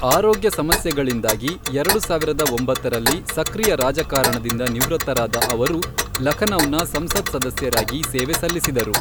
ಆರೋಗ್ಯ ಸಮಸ್ಯೆಗಳಿಂದಾಗಿ, ಎರಡು ಸಾವಿರದ ಒಂಬತ್ತರಲ್ಲಿ ಸಕ್ರಿಯ ರಾಜಕಾರಣದಿಂದ ನಿವೃತ್ತರಾದ ಅವರು ಲಖನೌನ ಸಂಸತ್ ಸದಸ್ಯರಾಗಿ ಸೇವೆ ಸಲ್ಲಿಸಿದರು.